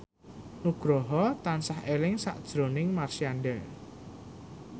Nugroho tansah eling sakjroning Marshanda